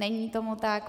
Není tomu tak.